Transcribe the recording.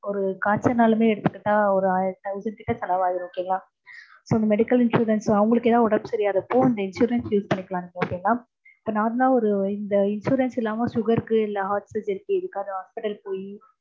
ஒரு காய்ச்சல்னாலுமே எடுத்துக்கிட்டா ஒரு ஆயிரம் thousand கிட்ட செலவாய்டும் okay ங்களா? so, medical insurance அவங்களுக்கு எதாவது உடம்பு சரியில்லாதப்போ இந்த insurance use பண்ணிக்கலாம் okay ங்களா